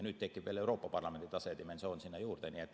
Nüüd tekib veel Euroopa Parlamendi tase ja dimensioon sinna juurde.